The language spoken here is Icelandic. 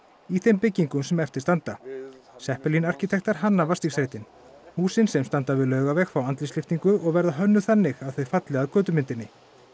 í þeim byggingum sem eftir standa arkítektar hanna húsin sem standa við Laugaveg fá andlitslyftingu og verða hönnuð þannig að þau falli að götumyndinni